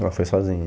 Ela foi sozinha.